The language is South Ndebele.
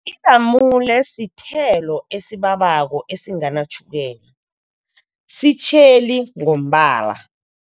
Ilamule sithelo esibabako, esinganatjhukela, sitjheli ngombala.